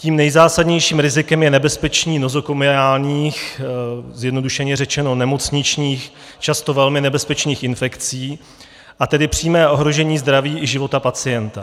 Tím nejzásadnějším rizikem je nebezpečí nozokomiálních, zjednodušeně řečeno nemocničních, často velmi nebezpečných infekcí, a tedy přímé ohrožení zdraví i života pacienta.